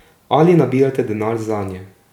Ali nabirate denar zanje?